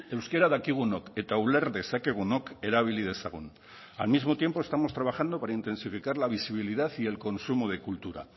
euskara dakigunok eta uler dezakegunok erabili dezagun al mismo tiempo estamos trabajando para intensificar la visibilidad y el consumo de cultura